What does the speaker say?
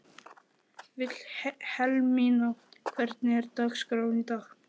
Vilhelmína, hvernig er dagskráin í dag?